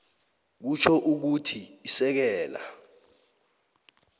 kutjho ukuthi isekela